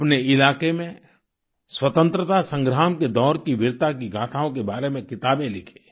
अपने इलाके में स्वतंत्रता संग्राम के दौर की वीरता की गाथाओं के बारे में किताबें लिखें